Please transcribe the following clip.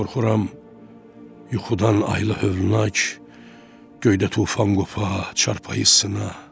Qorxuram yuxudan aylı hövlüna ki, göydə tufan qopa çarpayısına.